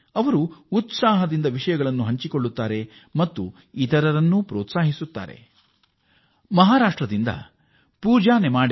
ಅವರು ಉತ್ಸಾಹಭರಿತರಾಗಿ ಇತರರನ್ನೂ ಡಿಜಿಟಲ್ ಮಾಧ್ಯಮಕ್ಕೆ ಉತ್ತೇಜಿಸುತ್ತಿದ್ದಾರೆ